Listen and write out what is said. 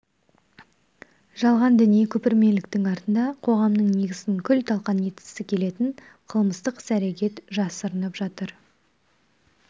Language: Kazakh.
жалған діни көпірмеліктің артында қоғамның негізін күл-талқан еткісі келетін қылмыстық іс-әрекет жасырынып жатыр